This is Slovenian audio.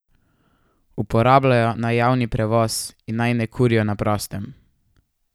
Uporabljajo naj javni prevoz in naj ne kurijo na prostem.